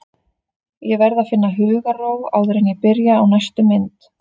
Ég verð að finna hugarró áður en ég byrja á næstu mynd.